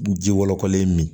Ji wolokɔlen min ye